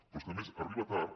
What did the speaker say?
però és que a més arriba tard